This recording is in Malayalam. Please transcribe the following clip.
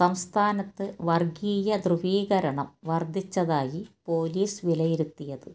സംസ്ഥാനത്ത് വര്ഗീയ ധ്രുവീകരണം വര്ദ്ദിച്ചതായി പൊലീസ് വിലയിരുത്തിയത്